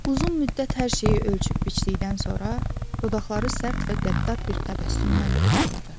Uzun müddət hər şeyi ölçüb-biçdikdən sonra dodaqları sərt və qəddar bir təbəssümlə dartıldı.